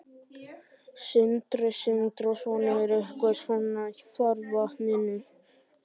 Sindri Sindrason: Er eitthvað svona í farvatninu?